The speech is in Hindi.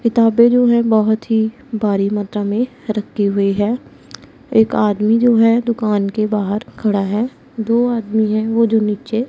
किताबें जो है बहोत ही भारी मात्रा में रखे हुए हैं एक आदमी जो है दुकान के बाहर खड़ा है दो आदमी है वो जो नीचे--